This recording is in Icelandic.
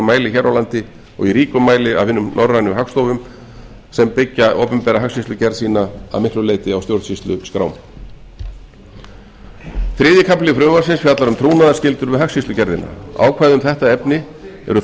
mæli hér á landi og í ríkum mæli af hinum norrænu hagstofum sem byggja opinbera hagskýrslugerð sína að miklu leyti á stjórnsýsluskrám þriðji kafli frumvarpsins fjallar um trúnaðarskyldur við hagskýrslugerðina ákvæði um þetta efni eru